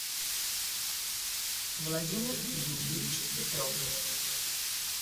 владимир юрьевич петров